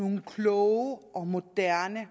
nogle kloge og moderne